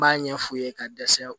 N b'a ɲɛ fu ye ka dɛsɛ